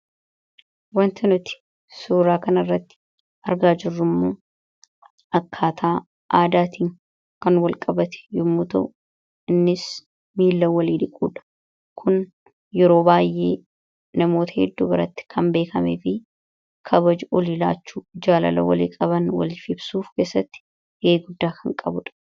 wanta nuti suuraa kan irratti argaa jirrummu akkaataa aadaatii kan wal qabate yommuta innis miila walii dhiquudha kun yeroo baay'ee namoota hedduu biratti kan beekame fi kabaji oliilaachuu ijaalala walii qaban wali fibsuuf keessatti heeguddaa kan qabuudha